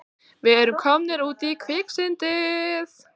Við erum komnir út í kviksyndið!